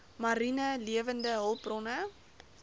mariene lewende hulpbronne